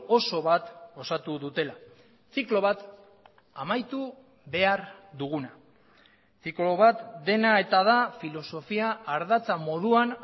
oso bat osatu dutela ziklo bat amaitu behar duguna ziklo bat dena eta da filosofia ardatza moduan